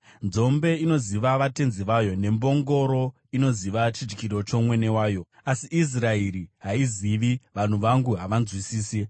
Nzombe inoziva vatenzi vayo, nembongoro inoziva chidyiro chomwene wayo, asi Israeri haizivi, vanhu vangu havanzwisisi.”